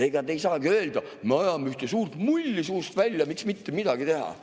Ega te ei saagi öelda: me ajame ühte suurt mulli suust välja, miks mitte midagi teha.